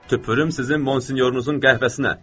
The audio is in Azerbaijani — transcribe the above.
Tüpürüm sizin Monsinyorunuzun qəhvəsinə.